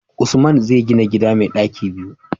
Usman zai gina gida mai ɗaki biyu